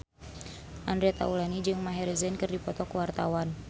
Andre Taulany jeung Maher Zein keur dipoto ku wartawan